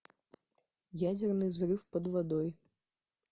ядерный взрыв под водой